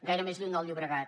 gaire més lluny del llobregat